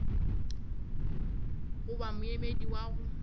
go ba moemedi wa go